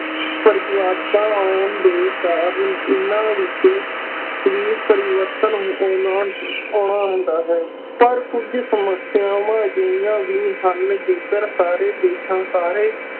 ਪਰਿਵਰਤਨ ਆਉਣ ਦੇ ਕਾਰਨ ਇਨ੍ਹਾਂ ਵਿਚ ਵੀ ਪਰਿਵਰਤਨ ਆਉਣਾ ਹੁੰਦਾ ਹੈ, ਪਰ ਕੁੱਝ ਸਮੱਸਿਆਵਾਂ ਅਜਿਹੀਆਂ ਵੀ ਹਨ ਜੇਕਰ ਸਾਰੇ ਦੇਸ਼ਾਂ, ਸਾਰੇ